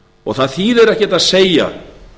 og það þýðir ekkert að segja